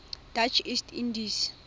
dutch east indies